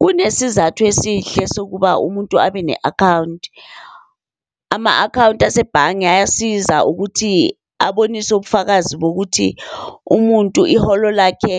Kunesizathu esihle sokuba umuntu abe ne-akhawunti. Ama-akhawunti asebhange ayasiza ukuthi abonise ubufakazi bokuthi umuntu iholo lakhe